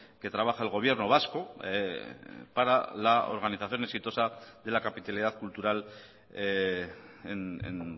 que trabaja el gobierno vasco para la organización exitosa de la capitalidad cultural en